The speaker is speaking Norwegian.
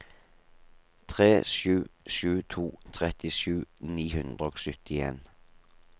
tre sju sju to trettisju ni hundre og syttien